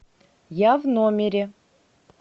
я в номере